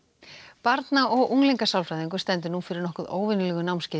barna og stendur nú fyrir nokkuð óvenjulegu námskeiði